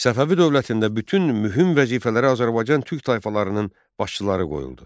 Səfəvi dövlətində bütün mühüm vəzifələrə Azərbaycan Türk tayfalarının başçıları qoyuldu.